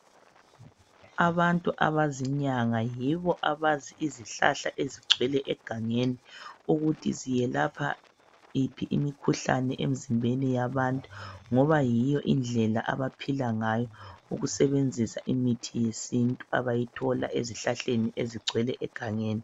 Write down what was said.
Abantu abazinyanga yibo abazi izihlahla ezigcwele egangeni ukuthi ziyelapha yiphi imikhuhlane emizimbeni yabantu, ngoba yiyo indlela abaphila ngayo, ukusebenzisa imithi yesintu abayithola ezihlahleni ezigcwele egangeni.